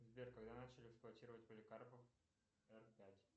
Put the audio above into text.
сбер когда начали эксплуатировать поликарпов р пять